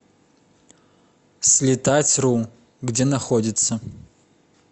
слетатьру где находится